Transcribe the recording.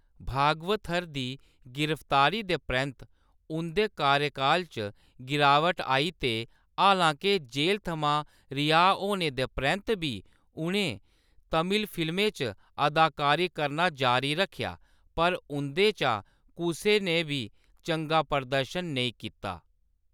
भागवथर दी गिरफ्तारी दे परैंत्त उंʼदे कार्यकाल च गिरावट आई ते हालां-के जेल थमां रिहाऽ होने दे परैंत्त बी उʼनें तमिल फिल्में च अदाकारी करना जारी रक्खेआ, पर उंʼदे चा कुसै ने बी चंगा प्रदर्शन नेईं कीता।